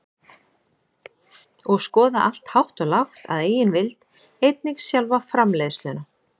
og skoða allt hátt og lágt að eigin vild, einnig sjálfa framleiðsluna.